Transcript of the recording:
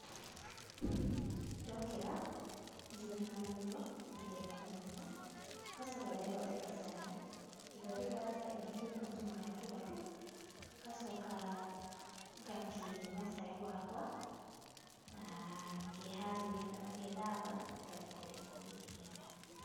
Ndokĩra, nginyaga magego, na ngethamba maitho, ngacoka ngathondeka cai, ngĩthondekaga cai, ngakĩnyua tũmaĩ tũraru, ngacoka ngakĩnyua cai wakwa, na ngeharĩria kana ngethamba, ngathii kũrĩa ngũgĩthiaga.